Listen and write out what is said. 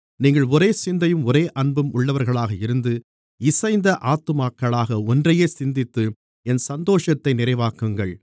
நீங்கள் ஒரே சிந்தையும் ஒரே அன்பும் உள்ளவர்களாக இருந்து இசைந்த ஆத்துமாக்களாக ஒன்றையே சிந்தித்து என் சந்தோஷத்தை நிறைவாக்குங்கள்